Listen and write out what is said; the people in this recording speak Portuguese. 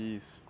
Isso.